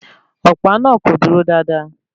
Ọ̀pá náà kò dúró dáadáa